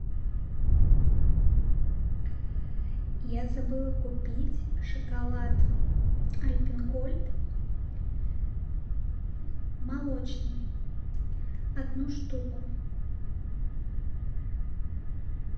я забыла купить шоколад альпен гольд молочный одну штуку